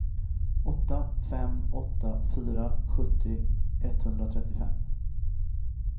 åtta fem åtta fyra sjuttio etthundratrettiofem